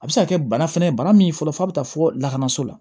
A bɛ se ka kɛ bana fɛnɛ ye bana min fɔlɔ f'a bɛ taa fo lakanaso la